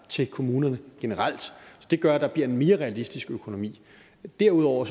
til kommunerne generelt det gør at der bliver en mere realistisk økonomi derudover